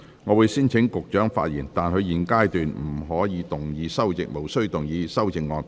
我會先請局長發言，但他在現階段無須動議修正案。